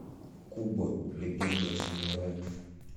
куб легенда о самурае